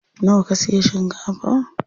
Nawa ka siya shinkafa?